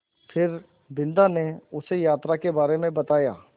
फिर बिन्दा ने उसे यात्रा के बारे में बताया